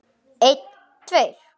Einn tveir.